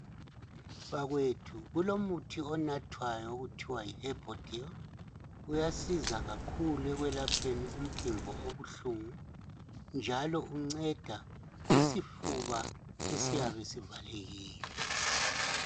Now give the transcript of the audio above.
Bakwethu kulomuthi onatwayo okuthiwa Yi HERBODIL. Uyasiza kakhulu ekwelapheni umpimbo obuhlungu njalo unceda kusifuba esiyabe sivalekile.